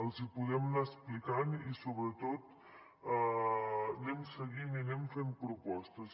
els hi podem anar explicant i sobretot anem seguint i anem fent propostes